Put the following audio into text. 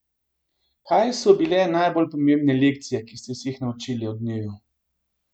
Kaj so bile najbolj pomembne lekcije, ki ste se jih naučili od njiju?